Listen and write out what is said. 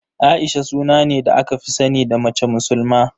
A'isha suna ne da aka fi sani da mace musulma.